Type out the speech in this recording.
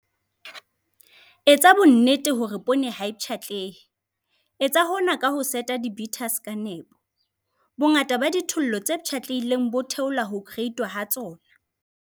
Etsa bonnete hore poone ha e pshatlehe. Etsa hona ka ho seta di-beaters ka nepo. Bongata ba dithollo tse pshatlehileng bo theola ho kereitwa ha tsona.